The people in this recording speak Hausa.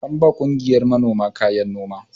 An ba ƙungiyar manoma kayan noma.